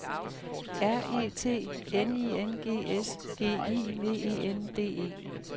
R E T N I N G S G I V E N D E